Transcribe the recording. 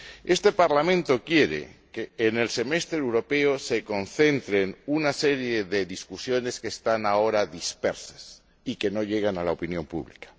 Este Parlamento quiere que en el semestre europeo se concentren una serie de discusiones que están ahora dispersas y que no llegan a la opinión pública.